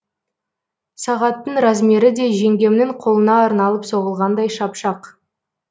сағаттың размері де жеңгемнің қолына арналып соғылғандай шап шақ